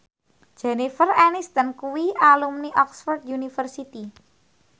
Jennifer Aniston kuwi alumni Oxford university